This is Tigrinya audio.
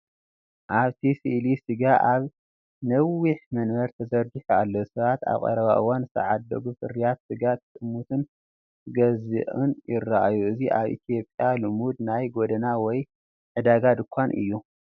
ኣብቲ ስእሊ ስጋ ኣብ ነዊሕ መንበር ተዘርጊሑ ኣሎ። ሰባት ኣብ ቀረባ እዋን ዝተዓደጉ ፍርያት ስጋ ክጥምቱን ክገዝኡን ይረኣዩ። እዚ ኣብ ኢትዮጵያ ልሙድ ናይ ጎደና ወይ ዕዳጋ ድኳን እዩ።